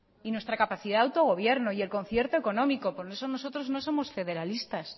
y nuestra capacidad de autogobierno y el concierto económico y con eso nosotros no somos federalistas